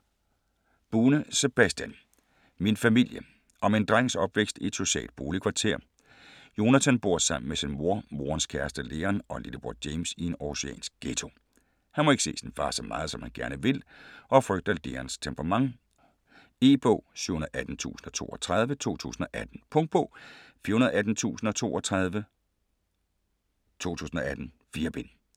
Bune, Sebastian: Min familie Om en drengs opvækst i et socialt boligkvarter. Jonathan bor sammen med sin mor, morens kæreste Leon og lillebror James i en århusiansk ghetto. Han må ikke se sin far så meget, som han gerne vil, og frygter Leons temperament. E-bog 718032 2018. Punktbog 418032 2018. 4 bind.